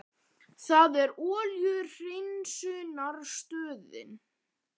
Er það olíuhreinsunarstöðin?